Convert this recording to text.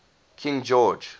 king george